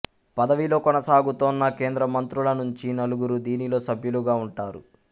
పదవిలో కొనసాగుతున్న కేంద్రమంత్రుల నుంచి నలుగురు దీనిలో సభ్యులుగా ఉంటారు